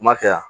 Kuma kɛ yan